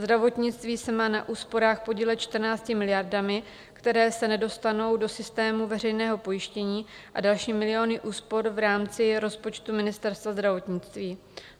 Zdravotnictví se má na úsporách podílet 14 miliardami, které se nedostanou do systému veřejného pojištění, a další miliony úspor v rámci rozpočtu Ministerstva zdravotnictví.